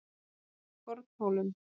Fornhólum